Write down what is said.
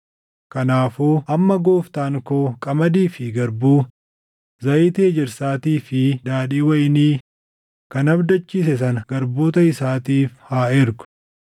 “Kanaafuu amma gooftaan koo qamadii fi garbuu, zayitii ejersaatii fi daadhii wayinii kan abdachiise sana garboota isaatiif haa ergu;